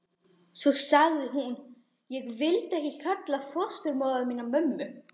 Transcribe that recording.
Svo sagði hún: Ég vildi ekki kalla fósturmóður mína mömmu.